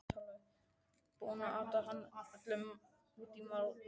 Búinn að ata hana alla út í málningu!